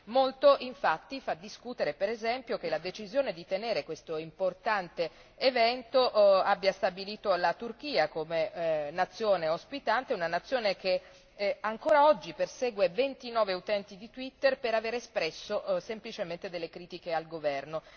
Molto infatti fa discutere, ad esempio, che la decisione di tenere questo importante evento abbia stabilito la Turchia come nazione ospitante, una nazione che ancora oggi persegue 29 utenti di Twitter per avere espresso semplicemente delle critiche al governo.